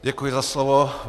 Děkuji za slovo.